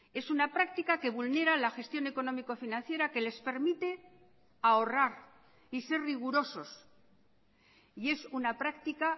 es una práctica que vulnera la gestión económico financiera que les permite ahorrar y ser rigurosos y es una práctica